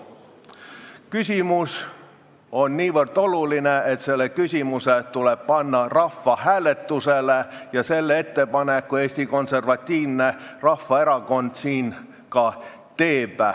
Küsimus on niivõrd oluline, et see tuleb panna rahvahääletusele ja selle ettepaneku Eesti Konservatiivne Rahvaerakond siin ka teeb.